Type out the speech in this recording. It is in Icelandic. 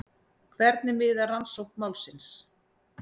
Hvernig miðar rannsókn málsins?